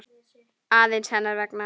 aðeins hennar vegna.